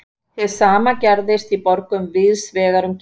Hið sama gerðist í borgum víðs vegar um Kína.